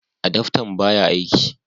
Adaftan baya aiki